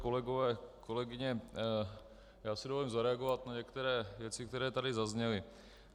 Kolegové, kolegyně, já si dovolím zareagovat na některé věci, které tady zazněly.